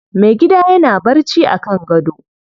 Mai gida yana barci a kan gado.